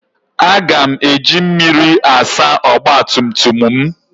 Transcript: Aga m eji mmiri asa ọgba tum tum m.